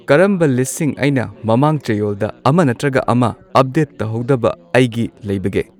ꯀꯔꯝꯕ ꯂꯤꯁꯠꯁꯤꯡ ꯑꯩꯅ ꯃꯃꯥꯡ ꯆꯌꯣꯜꯗ ꯑꯃ ꯅꯠꯇ꯭ꯔꯒ ꯑꯃ ꯑꯞꯗꯦꯠ ꯇꯧꯍꯧꯗꯕ ꯑꯩꯒꯤ ꯂꯩꯕꯒꯦ